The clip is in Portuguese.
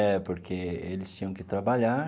É, porque eles tinham que trabalhar,